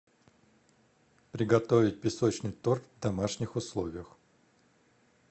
приготовить песочный торт в домашних условиях